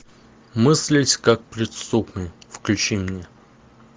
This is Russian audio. мыслить как преступник включи мне